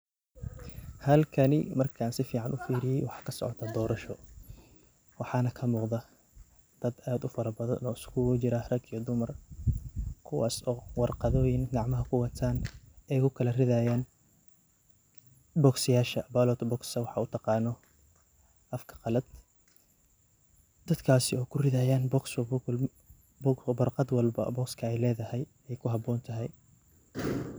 Halkani marka sifaican uvfiriyoh wakasocdoh dorasho , waxana kamuqdah dad aad u farabadan oo iskugu jirah raga iyo dumar kuwasi warqathoyin kacmaha kuwatan ayao kalarithayan boxseyasha ballotbox u taqanoh afka Kali dadakasi kurithayan boxswalba warqatha walba boxes leedahay ay kuhaboonthay.